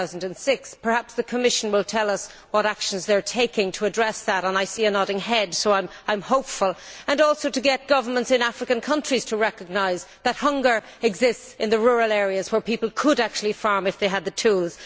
2006. Perhaps the Commission will tell us what actions they are taking to address that and I see a nodding head, so I am hopeful and also to get governments in African countries to recognise that hunger exists in the rural areas where people could actually farm if they had the tools.